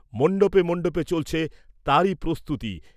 মণ্ডপে মণ্ডপে চলছে তারই প্রস্তুতি